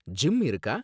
Gym இருக்கா?